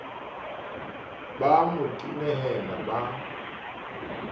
ba a mo tenehela ba